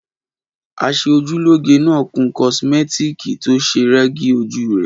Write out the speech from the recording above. Aṣeojúlóge náà kun kosimẹtiki to se rẹ́gí ojú rẹ̀.